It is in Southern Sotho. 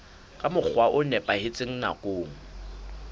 ka mokgwa o nepahetseng nakong